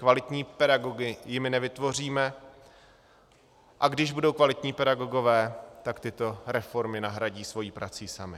Kvalitní pedagogy jimi nevytvoříme, a když budou kvalitní pedagogové, tak tyto reformy nahradí svou prací sami.